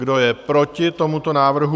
Kdo je proti tomuto návrhu?